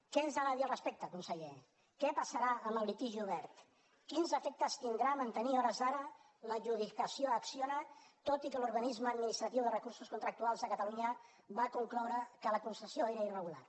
què ens ha de dir al respecte conseller què passarà amb el litigi obert quins efectes tindrà mantenir a hores d’ara l’adjudicació a acciona tot i que l’organisme administratiu de recursos contractuals de catalunya va concloure que la concessió era irregular